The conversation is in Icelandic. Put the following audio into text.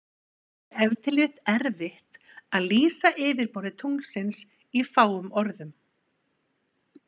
Það er ef til vill erfitt að lýsa yfirborði tunglsins í fáum orðum.